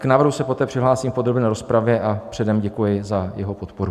K návrhu se poté přihlásím v podrobné rozpravě a předem děkuji za jeho podporu.